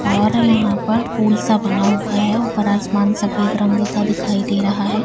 और यहां पर पूल सा बना हुआ है ऊपर आसमान सफेद रंग का दिखाई दे रहा है।